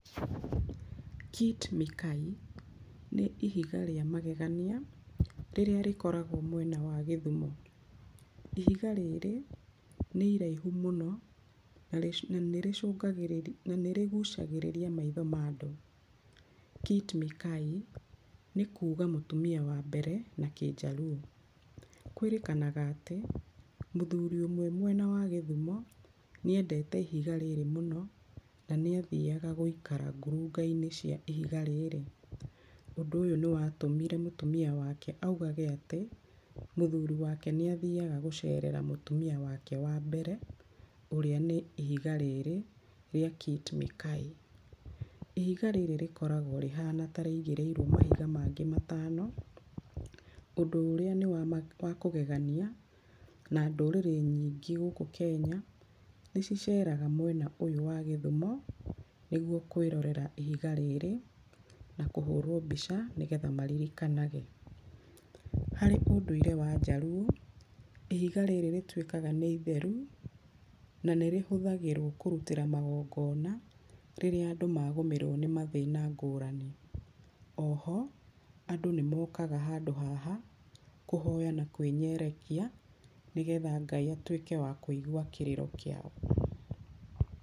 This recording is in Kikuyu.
Kit Mikayi nĩ ihiga rĩa magegania rĩrĩa rĩkorĩgwo mwema wa Gĩthumo. Ihiga rĩrĩ nĩ iraihu mũno na nĩrĩcũngagĩrĩria nirĩgucagĩrĩria maitho ma andũ. Kit mikayi, nĩ kuga mũtumia wa mbere nĩ Kĩnjaruo. Kwĩrĩkanaga atĩ, mũthũri ũmwe mwena wa Gĩthumo nĩ endete ihiga rĩrĩ mũno na nĩ nĩathiaga gũikara ngurunga-inĩ cia ihiga rĩrĩ. Ũndũ ũyũ nĩwatũmire mũtumia wake augage atĩ, mũthuri wake nĩathiaga gũcerera mũtumia wake wa mbere ũrĩa nĩ ihiga rĩri rĩa Kit Mikayi. Ihiga rĩrĩ rĩkoragwo rĩhana ta rĩigĩrĩirwo mahiga mangĩ matano, ũndũ ũrĩa nĩwakũgeganĩa na ndũrĩrĩ nyingĩ gũkũ Kenya nĩ ciceraga mwena ũyũ wa Gĩthumo nĩguo kwĩrorera ihiga rĩrĩ na kũhũrwo mbica maririkanage. Harĩ ũndũire wa Njaruo, ihiga rĩrĩ rĩtuĩkaga nĩ itheru na nĩ rĩhũthagĩrwo kũrutĩrwo magongona, rĩrĩa andũ magomerwo nĩ mathĩna ngũrani, oho andũ nĩmokaga handũ haha kũhoya na kwĩnyerekia nĩ getha Ngai atuĩke wa kũigua kĩrĩro kĩao.